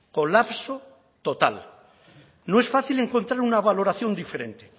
colapso total no es fácil encontrar una valoración diferente